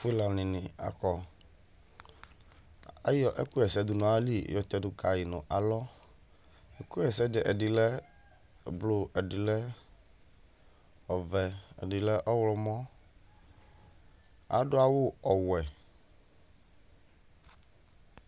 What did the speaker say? fulɔ nini akɔ , ayɔ ɛlu ɣa ɛsɛ du nu ayili yɔ tɛ du ka yi nu alɔ , ɛku ɣa ɛsɛ ɛdi lɛ blu ɛdi lɛ ɔvɛ, ɛdi lɛ ɔwlɔmɔ, adu awu ɔwɛ